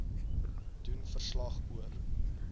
doen verslag oor